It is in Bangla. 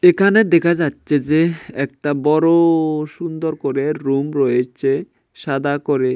এখানে দেখা যাচ্চে যে একটা বড় সুন্দর করে রুম রয়েচে সাদা করে।